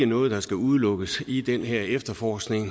noget der skal udelukkes i den her efterforskning